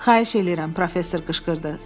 Xahiş eləyirəm, professor qışqırdı.